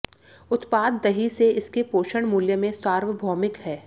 उत्पाद दही से इसके पोषण मूल्य में सार्वभौमिक हैं